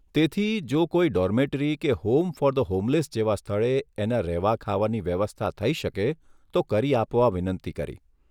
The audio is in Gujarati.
તેથી જો કોઇ ડોરમેટરી કે હોમ ફોર ધ હોમલેસ જેવા સ્થળે એના રહેવા ખાવાની વ્યવસ્થા થઇ શકે તો કરી આપવા વિનંતી કરી.